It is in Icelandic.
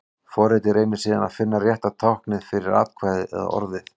Forritið reynir síðan að finna rétta táknið fyrir atkvæðið eða orðið.